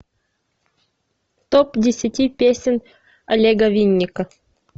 топ десяти песен олега винника